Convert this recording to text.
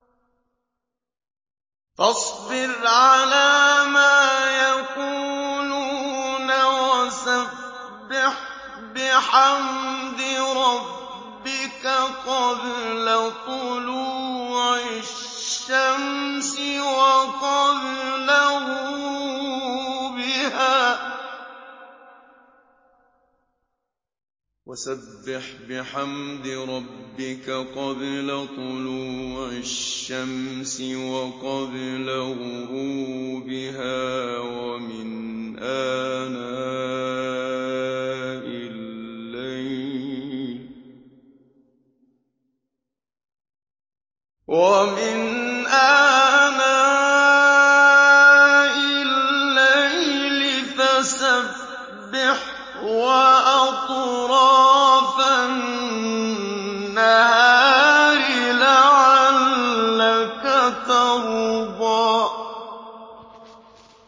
فَاصْبِرْ عَلَىٰ مَا يَقُولُونَ وَسَبِّحْ بِحَمْدِ رَبِّكَ قَبْلَ طُلُوعِ الشَّمْسِ وَقَبْلَ غُرُوبِهَا ۖ وَمِنْ آنَاءِ اللَّيْلِ فَسَبِّحْ وَأَطْرَافَ النَّهَارِ لَعَلَّكَ تَرْضَىٰ